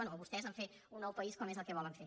bé o vostès a fer un nou país com és el que volen fer